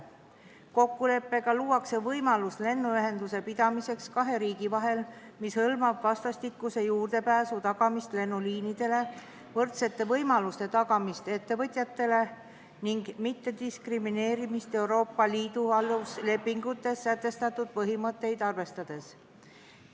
Kokkuleppega luuakse kahe riigi vahel lennuühenduse pidamise võimalus, mis hõlmab vastastikuse juurdepääsu tagamist lennuliinidele, võrdsete võimaluste tagamist ettevõtjatele ning mittediskrimineerimist Euroopa Liidu aluslepingutes sätestatud põhimõtteid arvestades.